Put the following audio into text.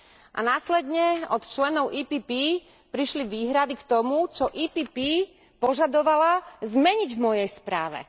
A následne od členov PPE prišli výhrady k tomu, čo PPE požadovala zmeniť v mojej správe.